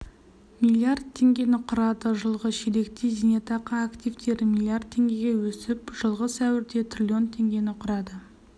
млрд теңгені құрады жылғы ширекте зейнетақы активтері млрд теңгеге өсіп жылғы сәуірде трлн теңгені құрады